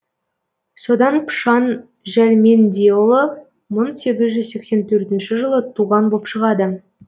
сонда пышан жәлмендеұлы мың сегіз жүз сексен төртінші жылы туған боп шығады